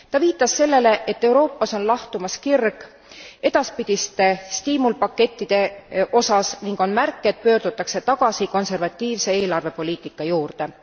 Ta viitas sellele, et Euroopas on lahtumas kirg edaspidiste stiimulpakettide osas ning on märk, et pöördutakse tagasi konservatiivse eelarvepoliitika juurde.